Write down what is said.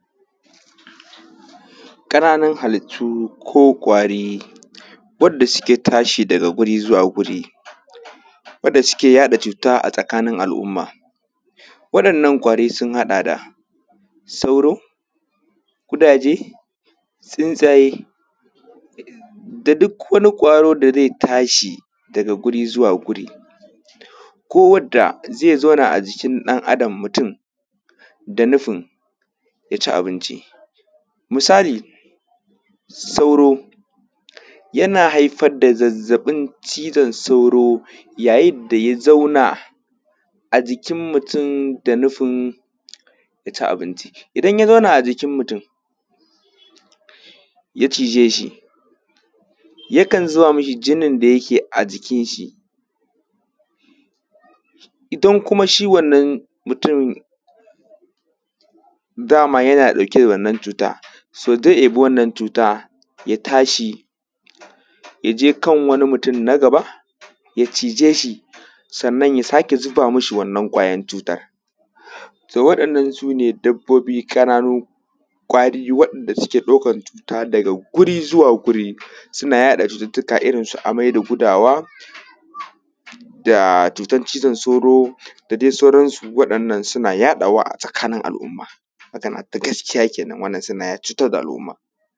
kananun halittu ko kwari wadda suke tashi daga wuri zuwa wuri wadda suke yada cuta a tsakanin al umma wadannan kwari sun hada da sauro kudaje tsutsaye da duk wani kwaro da zai tashi daga wuri zuwa wuri ko wadda zai zauna ajikin dan adam mutum da nufin yaci abinci misali sauro yana haifar da zazzabin cizon sauro yayin da ya zauna a jikin mutum da nufin yaci abinci idan ya zauna ajikin mutun ya chijeshi yakan zubamishi jinin da yake a jikin shi idan kuma shi wannan mutum dama yana dauke da wannan cuta to zai deba wannan cuta ya tashi yaje kan wani mutun na gaba ya chijeshi sannan ya sake zuba mishi wannan kwayan cutan so wa dannan sune dabbobi kananu kwari wanda suke daukan cuta daga guri zuwa guri suna yada cututtuka irrin su amai da gudawa da cutan chizon sauro da dai sauran su wadannan suna yadawa a tsakanin al umma magana ta gaskiya kenan wadannan suna cutar da al umma